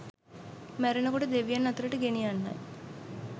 මැරෙන කොට දෙවියන් අතරට ගෙනියන්නයි.